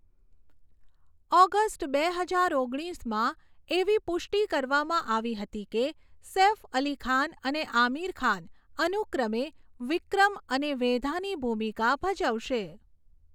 August બે હજાર ઓગણીસમાં, એવી પુષ્ટિ કરવામાં આવી હતી કે સૈફ અલી ખાન અને આમિર ખાન અનુક્રમે વિક્રમ અને વેધાની ભૂમિકા ભજવશે.